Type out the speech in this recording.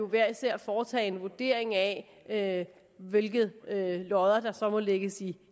hver især foretage en vurdering af hvilke lodder der så må lægges i